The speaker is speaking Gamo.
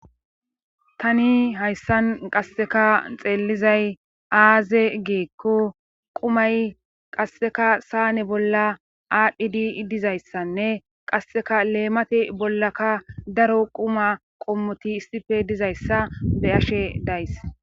tani hayssan qasseka xeellizay aaze geekko qumay qasseka saane bolla aadhdhi di dizayssanne qasseka leemate bollaka daro quma qommoti issife dizayssa be ashe days